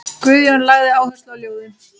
Guðjón lagði áherslu á ljóðin.